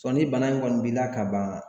ni bana in kɔni b'i la ka ban